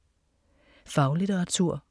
Faglitteratur